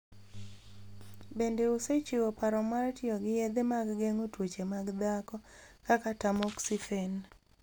Bende osechiwo paro mar tiyo gi yedhe mag geng'o tuoche mag dhako, kaka tamoxifen.